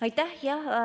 Aitäh!